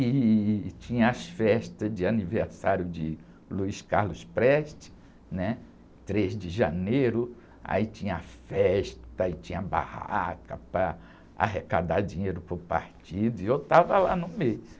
E, e tinha as festas de aniversário de Luiz Carlos Prestes, né? Três de janeiro, aí tinha festa, e tinha barraca para arrecadar dinheiro para o partido e eu estava lá no meio.